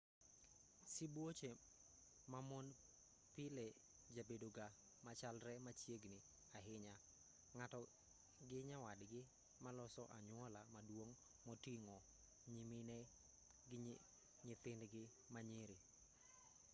sibuoche ma mon pile jabedoga machalre machiegni ahinya ng'ato gi nyawadgi maloso anyuola maduong' moting'o nyimine gi nyithindgi ma nyiri